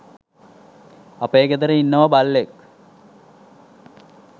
අපේ ගෙදර ඉන්නවා බල්ලෙක්.